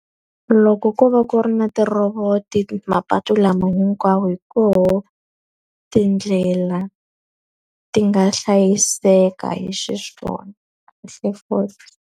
Loko ko va ku ri na ti-robort mapatu lama hinkwawo hi koho tindlela ti nga hlayiseka hi xiswona .